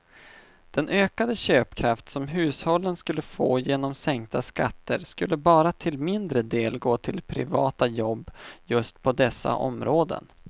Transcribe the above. Den ökade köpkraft som hushållen skulle få genom sänkta skatter skulle bara till mindre del gå till privata jobb just på dessa områden.